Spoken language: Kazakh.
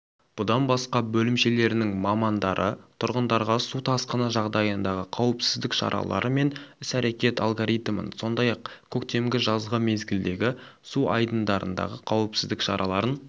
бұдан басқа бөлімшелерінің мамандары тұрғындарға су тасқыны жағдайындағы қауіпсіздік шаралары мен іс-әрекет алгоритмін сондай-ақ көктемгі жазғы мезгілдегі су айдындарындағы қауіпсіздік шараларын